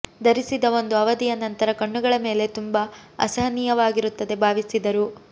ಧರಿಸಿ ಒಂದು ಅವಧಿಯ ನಂತರ ಕಣ್ಣುಗಳ ಮೇಲೆ ತುಂಬಾ ಅಸಹನೀಯವಾಗಿರುತ್ತದೆ ಭಾವಿಸಿದರು